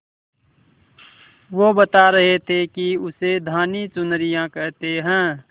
वो बता रहे थे कि उसे धानी चुनरिया कहते हैं